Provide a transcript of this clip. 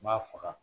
N b'a faga